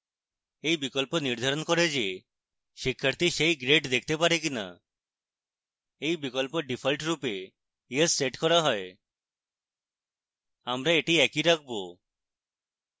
এই বিকল্প নির্ধারণ করে যে শিক্ষার্থী সেই grades দেখতে পারে কিনা